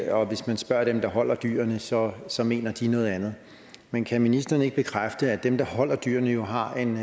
at hvis man spørger dem der holder dyrene så så mener de noget andet men kan ministeren ikke bekræfte at dem der holder dyrene jo har en